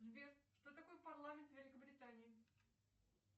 сбер что такое парламент великобритании